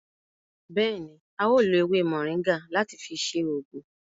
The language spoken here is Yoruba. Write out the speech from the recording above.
Béèni, a o lo ewé moringa láti fi ṣe oògùn